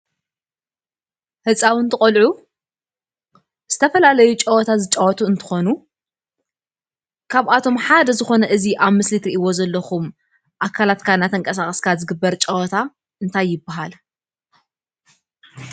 ህፃውንቲ ቆልዑ ዝተፈላለዩ ፀወታ ዝፃወቱ እንትኾኑ ካብቶም ሓደ ዝኾነ እዚ ኣብ ምስሊ ትሪኣዎ ዘለኩም ኣካላትካ እናተንቀሳቀስካ ዝግበር ጸወታ እንታይ ይበሃል ?